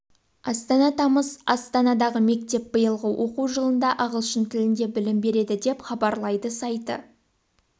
астана тамыз астанадағы мектеп биылғы оқу жылында ағылшын тілінде білім береді деп хабарлады сайты